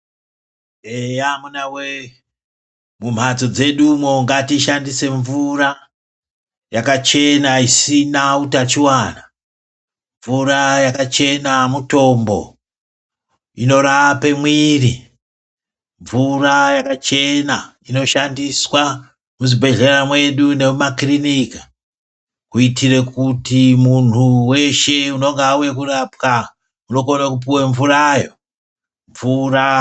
Eya amunawee mumhatso dzedumwo ngatishandise mvura yakachena isina hutachiwana. Mvura yakachena mutombo. Inorape mwiri. Mvura yakachena inoshandiswa muzvibhedhlera mwedu nemumakirinika kuitire kuti munhu weshe unonga auye kurapwa, unokono kupuwa mvurayo.